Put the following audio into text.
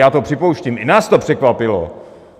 Já to připouštím, i nás to překvapilo.